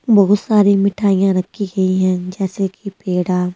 बहुत सारी मिठाइयां रखी गई है जैसे कि पेड़ा--